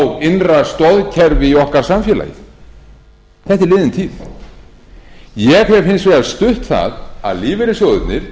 á innra stoðkerfi í okkar samfélagi þetta er liðin tíð ég hef hins vegar stutt það að lífeyrissjóðirnir